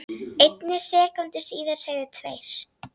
einni sekúndu síðar segðu tveir